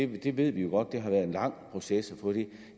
vi ved jo godt at det har været en lang proces at få det